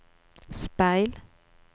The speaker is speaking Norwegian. speil